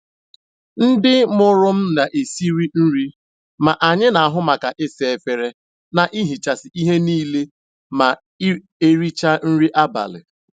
Ndị mụrụ m na esiri nri, ma anyị n'ahu maka isa efere, na ihichasị ihe niile ma erichaa nri abalị.